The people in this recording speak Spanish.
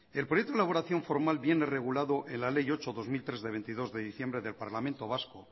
el proyecto de elaboración formal viene regulado en la ley ocho barra dos mil tres de veintidós de diciembre del parlamento vasco